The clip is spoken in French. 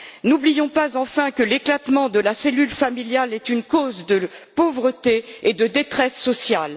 N'oublions pas, enfin, que l'éclatement de la cellule familiale est une cause de pauvreté et de détresse sociale.